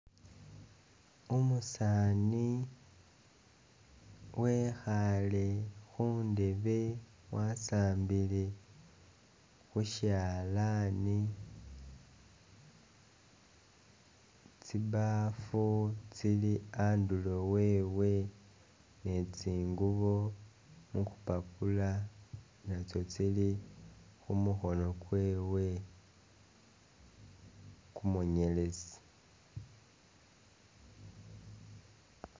Umusaani wekhaale khundebe wasambile khu syalaani. Tsibaafu tsili andulo wewe ne tsingubo mu kupapula natsyo tsili khu mukhono kwewe kumunyeletsi.